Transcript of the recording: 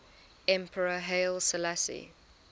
emperor haile selassie